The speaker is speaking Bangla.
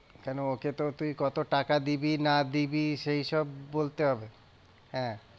কেন ওকে তো তুই কত টাকা দিবি না দিবি সেই সব বলতে হবে হ্যাঁ,